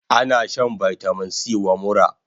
Ana shan vitamin C wa mura